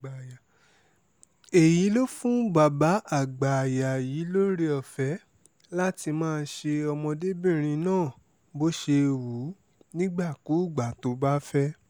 èyí ló fún bàbá àgbáàyà yìí lọ́rẹ-ọ̀fẹ́ láti máa ṣe ọmọdébìnrin náà bó ṣe wù ú nígbàkúùgbà tó bá fẹ́